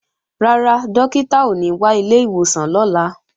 Rárá, Dókítà ò ní wá ilé ìwòsàn lọ́la